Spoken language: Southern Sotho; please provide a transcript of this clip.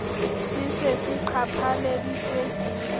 se se se qhaphaleditswe ke